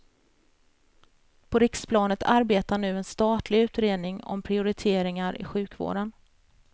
På riksplanet arbetar nu en statlig utredning om prioriteringar i sjukvården.